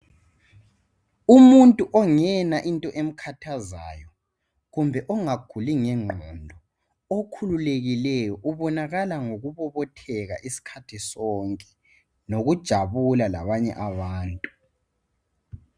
Umuntu ongela into emkhathazayo kumbe ongaguli ngengqondo kumbe okhululekileyo ubonakala ngokubobotheka isikhathi sonke lokujabula labanye abantu.